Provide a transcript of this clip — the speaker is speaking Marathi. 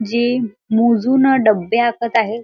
जे मोजुन डब्बे आखत आहे.